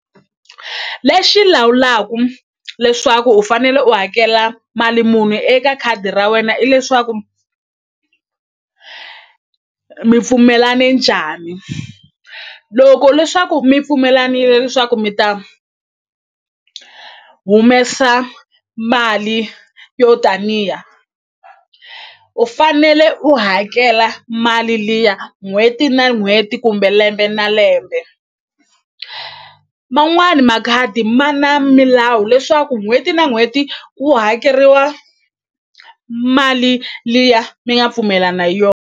Lexi lawulaku leswaku u fanele u hakela mali muni eka khadi ra wena i leswaku mi pfumelane njhani loko leswaku mi pfumelanile leswaku mi ta humesa mali yo taniya u fanele u hakela mali liya n'hweti na n'hweti kumbe lembe na lembe man'wani makhadi ma na milawu leswaku n'hweti na n'hweti ku hakeriwa mali liya mi nga pfumelana .